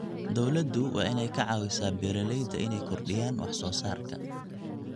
Dawladdu waa inay ka caawisaa beeralayda inay kordhiyaan wax soo saarka.